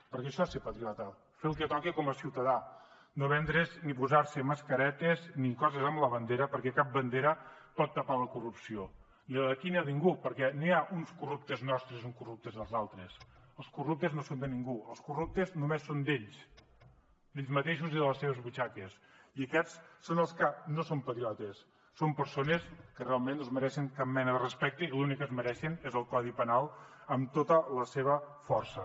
perquè això és ser patriota fer el que toca com a ciutadà no vendre’s ni posar se mascaretes ni coses amb la bandera perquè cap bandera pot tapar la corrupció ni la d’aquí ni la de ningú perquè no hi ha uns corruptes nostres i uns corruptes dels altres els corruptes no són de ningú els corruptes només són d’ells d’ells mateixos i de les seves butxaques i aquests són els que no són patriotes són persones que realment no es mereixen cap mena de respecte i l’únic que es mereixen és el codi penal amb tota la seva força